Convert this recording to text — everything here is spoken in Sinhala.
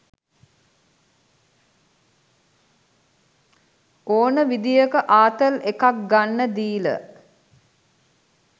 ඕන විදියක ආතල් එකක් ගන්න දීල